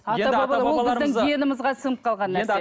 ол біздің генімізге сіңіп қалған нәрсе